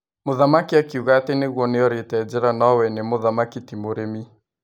Mũthamaki akiuga atĩ nĩguo nĩorĩte njĩra no we nĩ mũthamaki ti mũrĩmi.